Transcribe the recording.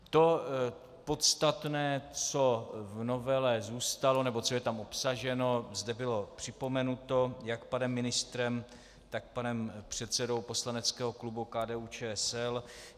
To podstatné, co v novele zůstalo nebo co je tam obsaženo, zde bylo připomenuto jak panem ministrem, tak panem předsedou poslaneckého klubu KDU-ČSL.